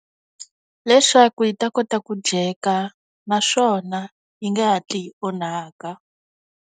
Leswaku yi ta kota ku dyeka naswona yi nge hatli yi onhaka.